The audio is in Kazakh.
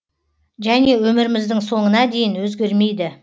және өміріміздің соңына дейін өзгермейді